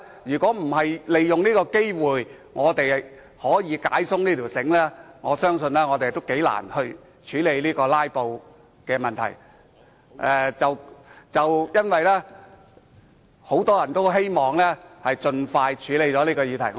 如果我們不利用這個機會把繩子鬆開，我相信將很難處理"拉布"的問題，而很多人也希望能夠盡快處理這議題。